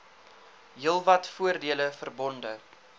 heelwat voordele verbonde